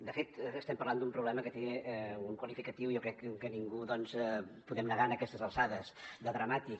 de fet estem parlant d’un problema que té un qualificatiu jo crec que ningú doncs podem negar lo a aquestes alçades de dramàtic